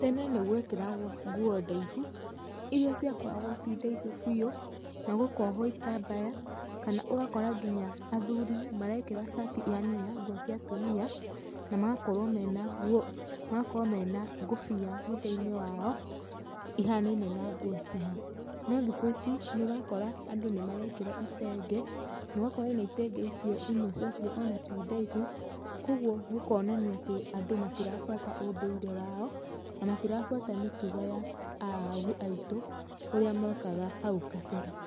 Tene nĩgwekĩragwo nguo ndaihu, irĩa ciakoragwo ci ndaihu biũ na gũkohwo itambaya kana ũgakora nginya athuri marekĩra cati ihanaine na cia atumia na magakorwo mena kobia mũtweinĩ wao ihanaine na nguo ciao, no thuko ici nũrakora andũ nĩmarekĩra itenge nogakora ona itenge icio imwe cia cio ona tĩ ndaihu, kwoguo gũkonania atĩ andũ matirabatara ũndũire wao na matirabuata mĩtugo ya aagu aitũ ũria mekaga nahau kaberee.